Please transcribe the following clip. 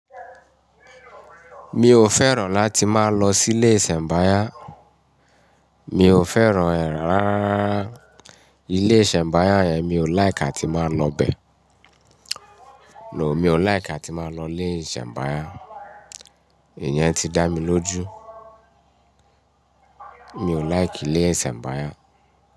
Mi ò fẹ́ràn láti máa lọ silé ìsẹ̀mbáyá. Mi ò fẹ́ràn e rárá ilé ìsẹ̀mbáyá yẹn. Mi ò like atí máa lọbẹ. No, mi ò like tí máa lọ ilé ìsẹ̀mbáyá. Ìyẹn ti dá mi lójú. Mi ò like ilé ìsẹ̀mbáyá.